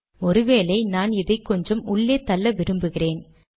ஒரு வேளை நான் இதை கொஞ்சம் உள்ளே தள்ள விரும்புகிறேன்